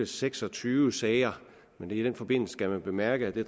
seks og tyve sager men i den forbindelse skal man bemærke at det